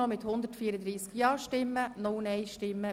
Sie haben dem Kredit zugestimmt.